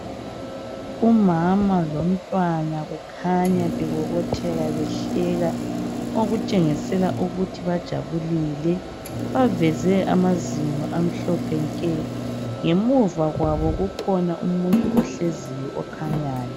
umama lomntwana kukhanya bebobotheka behleka okutshengisela ukuthi bajabulile baveze amazinyo amhlophe nke ngemuva kwabo kukhona umuntu ohleziyo okhanyayo.